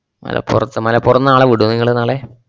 മലപ്പുറത്ത് മലപ്പുറന്നാളെ വിട്വോ നിങ്ങള് നാളെ?